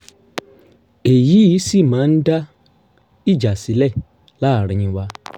èyí sì máa ń dá ìjà sílẹ̀ làárín wa